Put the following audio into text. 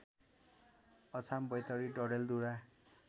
Achham Baitadi Dadeldhura